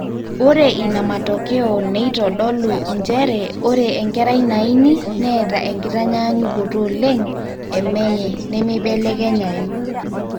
ore inamatokeo neitodolu njere ore enkerai naini neeta enkitanyanyukoto oleng emenye nemebelekenyayu